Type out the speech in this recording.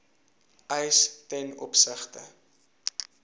eis ten opsigte